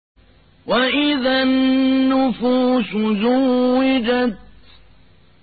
وَإِذَا النُّفُوسُ زُوِّجَتْ